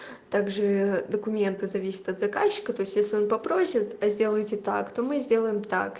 также документы зависит от заказчика то есть если он попросят сделайте так то мы сделаем так